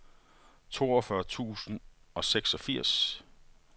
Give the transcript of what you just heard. toogfyrre tusind og seksogfirs